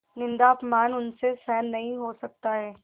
निन्दाअपमान उनसे सहन नहीं हो सकता है